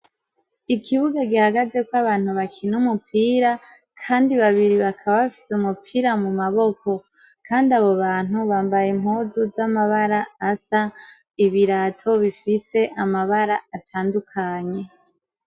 Ikibuga gihagazeko abantu bakina umupira kandi babiri bakaba bafise umupira mu maboko Kandi abo bantu bambaye impuzu z'amabara asa ibirato bifise amabara atandukanye.